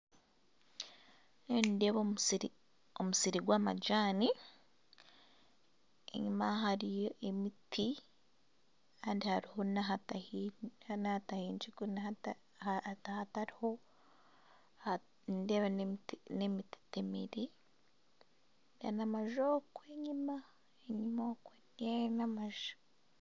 Ndiyo nindeeba omusiri, omusiri gw'amajani enyuma hariyo emiti kandi hariho nahatahingirwe, nindeeba n'emiti eteemire nana amanju okwe enyuma n'amanju.